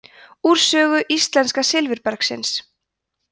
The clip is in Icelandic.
úr sögu íslenska silfurbergsins